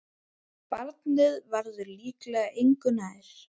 Barnið verður líklega engu nær.